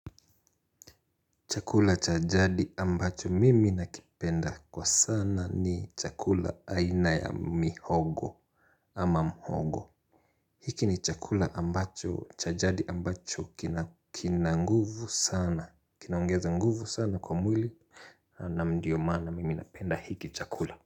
Chakula cha jadi ambacho mimi nakipenda kwa sana ni chakula aina ya mihogo ama mhogo. Hiki ni chakula ambacho cha jadi ambacho kina nguvu sana. Kina ongeza nguvu sana kwa mwili na ndio maana mimi napenda hiki chakula.